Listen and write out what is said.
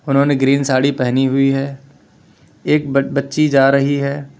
उन्होंने ग्रीन साड़ी पहनी हुई है एक बच्ची जा रही है।